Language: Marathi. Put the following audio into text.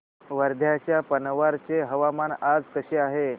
वर्ध्याच्या पवनार चे हवामान आज कसे आहे